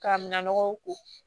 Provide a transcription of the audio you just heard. K'a minɛ mɔgɔw ko